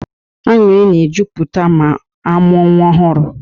Aṅụrị na e jupụta ma amụọ nwa ọhụrụ